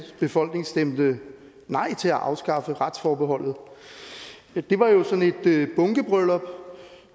befolkning stemte nej til at afskaffe retsforbeholdet det var jo sådan et bunkebryllup